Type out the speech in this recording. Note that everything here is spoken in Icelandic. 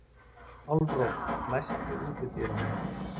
Álfrós, læstu útidyrunum.